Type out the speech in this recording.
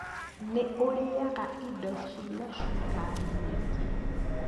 Nĩ ũrĩaga indo cina cukari mũingĩ?